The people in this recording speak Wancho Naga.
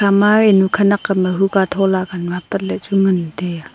ema enu khanak am ae huka thola ka nu apat lah chu ngan taiya.